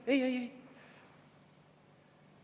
Ei-ei!